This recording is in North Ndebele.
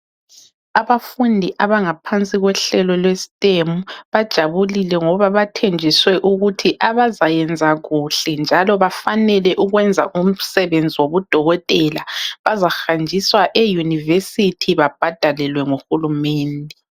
Abafundi abangaphansi kohlelo lwe STEM, bajabulile ngoba bathenjiswe ukuthi abazayenza kuhle njalo abafanele ukuyenza umsebenzi wobudokotela, bazahanjiswa euniversity babhadalelwe nguhulumende.